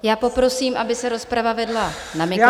Já poprosím, aby se rozprava vedla na mikrofon.